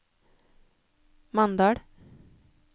Mandal